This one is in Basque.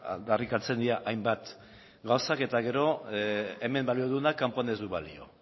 aldarrikatzen dira hainbat gauza eta gero hemen balio duenak kanpoan ez du balio